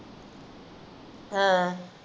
ਹਾਂ